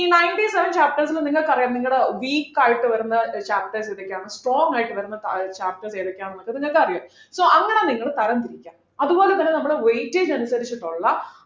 E ninety seven chapters ലും നിങ്ങൾക്കറിയാം നിങ്ങടെ weak ആയിട്ടുവരുന്ന chapters ഏതൊക്കെയാണ് strong ആയിട്ട് വരുന്ന ഏർ chapters ഏതൊക്കെയാണെന്ന് നിങ്ങൾക്കറിയാം so അങ്ങനെ നിങ്ങള് തരം തിരിക്കുക അതുപോലെതന്നെ നമ്മള് weightage അനുസരിച്ചിട്ടുള്ള